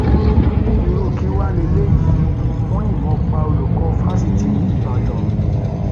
irú kí wàá lélẹyìí wọn yìnbọn pa olùkọ fáṣítì ìbàdàn